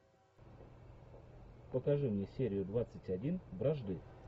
покажи мне серию двадцать один вражды